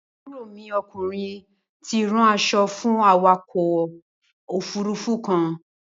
Àbúrò mi okùnrin ti ránṣọ fú awakọ̀ òfurufú kan.